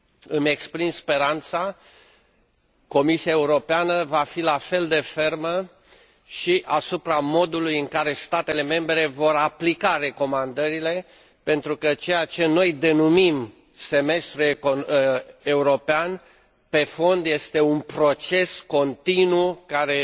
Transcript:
Îmi exprim speranța că Comisia Europeană va fi la fel de fermă și asupra modului în care statele membre vor aplica recomandările, pentru că ceea ce noi denumim semestru european, pe fond este un proces continuu, care